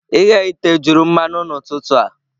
Ighe ite juru mmanụ n'ụtụtụ a.